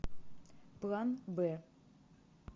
план б